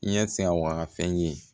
I ɲɛ sin a wagafɛn ɲini